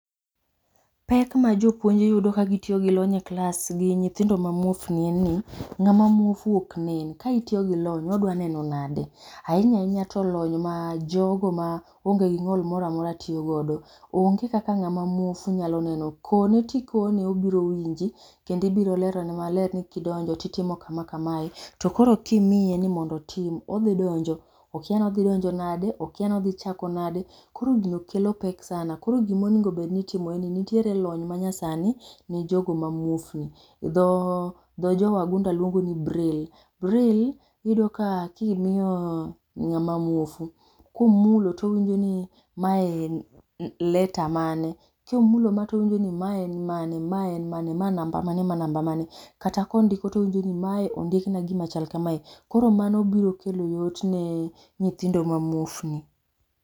Pek ma jopuonj yudo ka gi tiyo gi lony e klas gi nyithindo ma muofni en ni, nyithindo ma muofu ok nen. ka itiyo gi lony to odwa neno nade? Ahinya ahinya to lony ma jogo ma onge gi ng'ol moro amora tiyo godo. onge kaka ng'a ma muofu nyalo neno, kone to ikone obiro winji kendo ibiro lero ne maber ni ki idonjo ti itimo ka ma kae to koro ko imiye ni mondo otim odhi donjo, okia ni odhi donjo nade okia ni odhi chako nade. Koro gino kelo pek sana koro gi ma onego obed ni itimo nitiere lony ma nyasani ne jo go ma muofu dho jo wagunda luongo ni braille. Braille iyudo ka ki imiyo ng'a ma muofu, ko omulo ni ma en letter mane, ko omulo ma to owinjo ni ma en mane, ma en mane. ma namba mane mae namba mane, kata ko ondiko to owinjo ni ma ondikna gi ma chal ka mae. Koro mano biro kelo yot ne nyithindo ma muofni.